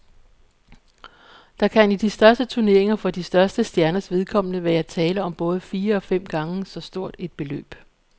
Der kan i de største turneringer for de største stjerners vedkommende være tale om både fire og fem gange så stort et beløb.